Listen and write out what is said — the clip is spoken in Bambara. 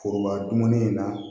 Foroba dumuni in na